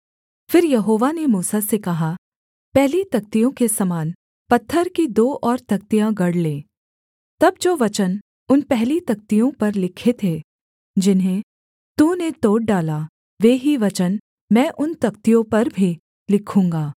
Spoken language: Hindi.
फिर यहोवा ने मूसा से कहा पहली तख्तियों के समान पत्थर की दो और तख्तियाँ गढ़ ले तब जो वचन उन पहली तख्तियों पर लिखे थे जिन्हें तूने तोड़ डाला वे ही वचन मैं उन तख्तियों पर भी लिखूँगा